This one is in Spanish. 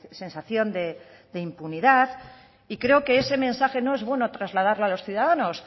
sensación de impunidad y creo que ese mensaje no es bueno trasladarlo a los ciudadanos